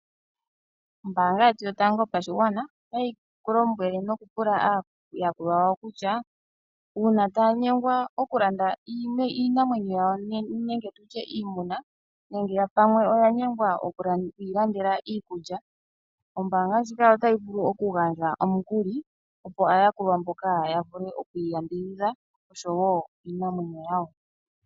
Ombaanga yetu yotango yopashigwana otayi ku lombwele nokupula aayakulwa yawo kutya uuna taya nyengwa okulanda iinamwenyo yawo nenge tu tye iimuna nenge pamwe oya nyengwa oku yi landela iikulya. Ombaanga ndjika otayi vulu okugandja omukuli, opo aayakulwa mboka ya vule oku yambidhidha osho wo iinamwenyo yawo.